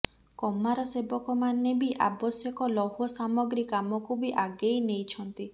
କମାର ସେବକମାନେ ବି ଆବଶ୍ୟକ ଲୌହ ସାମଗ୍ରୀ କାମକୁ ବି ଆଗେଇ ନେଇଛନ୍ତି